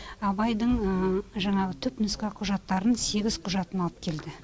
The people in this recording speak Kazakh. абайдың жаңағы түпнұсқа құжаттарын сегіз құжатын алып келді